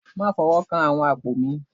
Má fọwọ́ kan àwọn àpò mi